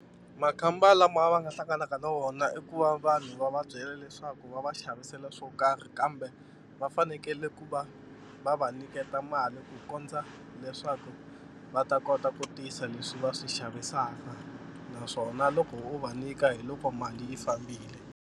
Makhamba lama va nga hlanganaka na wona i ku va vanhu va va byela leswaku va va xavisela swo karhi kambe va fanekele ku va va va nyiketa mali ku kondza leswaku va ta kota ku tisa leswi va swi xavisaka naswona loko wo va nyika hi loko mali yi fambile.